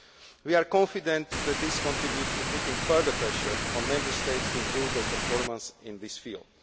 well. We are confident that this contributes to putting further pressure on Member States to improve their performance in this field.